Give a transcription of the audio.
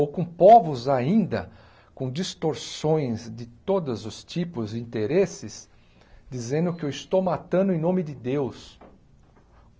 Ou com povos ainda, com distorções de todos os tipos e interesses, dizendo que eu estou matando em nome de Deus.